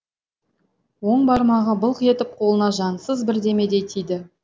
оң бармағы былқ етіп қолына жансыз бірдемедей тиді